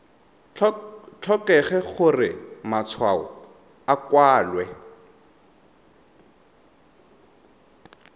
tlhokege gore matshwao a kwalwe